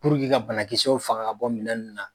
ka banakisɛw faga ka bɔ minɛn nunnu na.